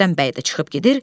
Rüstəm bəy də çıxıb gedir.